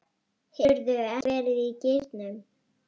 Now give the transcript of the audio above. Hefurðu ekki verið í gírnum?